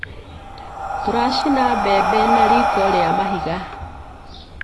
Tũracina mbembe na riko rĩa mahiga.